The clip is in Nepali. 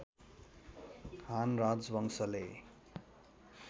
हान राजवंशले